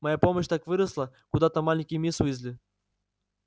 моя мощь так выросла куда там маленькой мисс уизли